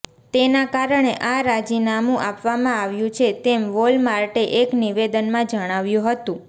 તેના કારણે આ રાજીનામું આપવામાં આવ્યું છે તેમ વોલમાર્ટે એક નિવેદનમાં જણાવ્યું હતું